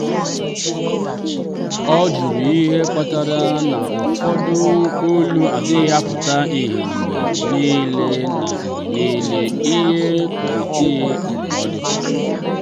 ọ jụrụ ihe kpatara na ụfọdụ olu adịghị aputa ihe mgbe niile na mgbe niile na kọmitii ndụmọdụ.